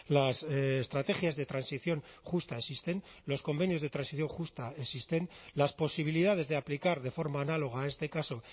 las estrategias de transición justa existen los convenios de transición justa existen las posibilidades de aplicar de forma análoga a este caso